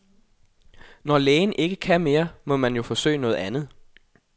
Når lægen ikke kan mere, må man jo forsøge noget andet.